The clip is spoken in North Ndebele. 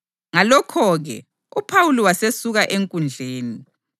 Ngalokho-ke, uPhawuli wasesuka enkundleni.